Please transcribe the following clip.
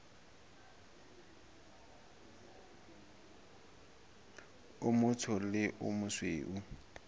o motsho le o mosweu